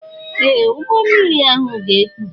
Ee! Ụgbọ mmiri ahụ ga-ekpu.